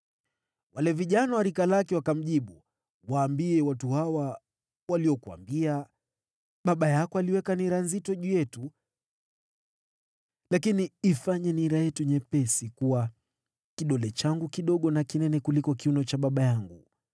Wale vijana wa rika lake wakamjibu, “Waambie watu hawa waliokuambia, ‘Baba yako aliweka nira nzito juu yetu, lakini ifanye nira yetu nyepesi,’ kuwa, ‘Kidole changu kidogo ni kinene kuliko kiuno cha baba yangu.